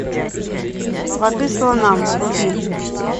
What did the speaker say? воды слонам вруби